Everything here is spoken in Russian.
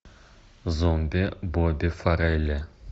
зомби бобби фаррелли